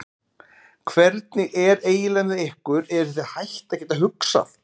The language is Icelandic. Hvernig er eiginlega með ykkur, eruð þið hætt að geta hugsað?